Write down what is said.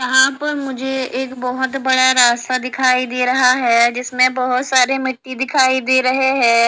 यहां पर मुझे एक बहोत बड़ा रास्ता दिखाई दे रहा है जिसमें बहोत सारे मिट्टी दिखाई दे रहे है।